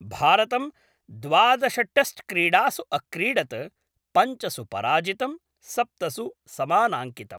भारतं द्वादश टेस्ट्क्रीडासु अक्रीडत्, पञ्चसु पराजितं, सप्तसु समानाङ्कितम्।